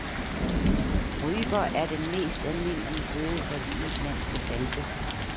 Ryper er den mest almindelige føde for de islandske falke.